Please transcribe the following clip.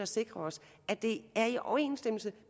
sikrer os at det er i overensstemmelse